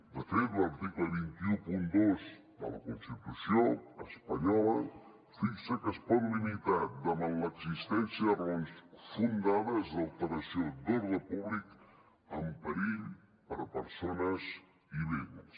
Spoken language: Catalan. de fet l’article dos cents i dotze de la constitució espanyola fixa que es pot limitar davant l’existència de raons fonamentades d’alteració d’ordre públic amb perill per a persones i béns